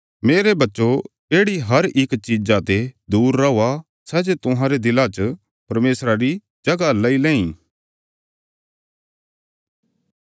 मेरे बच्चो येढ़ी हर इक चीजा ते दूर रौआ सै जे तुहांरे दिलां च परमेशरा री जगह लेई लैंई